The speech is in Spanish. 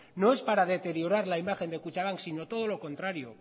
no es para deteriorar la imagen de kutxabank sino todo lo contrario